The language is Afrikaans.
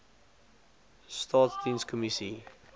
staatsdienskommissie